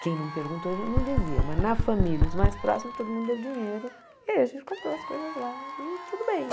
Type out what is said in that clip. Quem não perguntou, a gente não dizia, mas na família, os mais próximos, todo mundo deu dinheiro e a gente comprou as coisas lá e tudo bem.